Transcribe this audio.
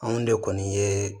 Anw de kɔni ye